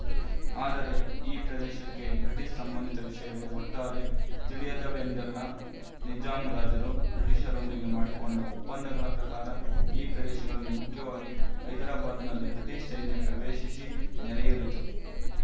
ಆದರೆ ಈ ಪ್ರದೇಶಕ್ಕೆ ಬ್ರಿಟಿಶ ಸಂಬಂಧಿತ ವಿಶಯಗಳು ಒಟ್ಟಾರೆ ತಿಳಿಯದವೆಂದಲ್ಲ ನಿಜಾಂ ರಾಜರು ಬ್ರಿಟಿಶರೊಂದಿಗೆ ಮಾಡಿಕೊಂಡ ಒಪ್ಪಂದಗಳ ಪ್ರಕಾರ ಈ ಪ್ರದೇಶದಲ್ಲಿ ಮುಖ್ಯವಾಗಿ ಹೈದರಾಬಾದ್‍ನಲ್ಲಿ ಬ್ರಿಟಿಶ ಸೈನ್ಯ ಪ್ರವೇಶಿಸಿ ನೆಲೆಯೂರಿತು